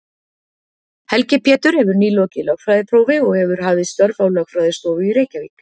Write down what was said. Helgi Pétur hefur nýlokið lögfræðiprófi og hefur hafið störf á lögfræðistofu í Reykjavík.